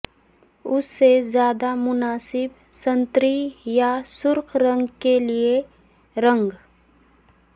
اس سے زیادہ مناسب سنتری یا سرخ رنگ کے لئے رنگ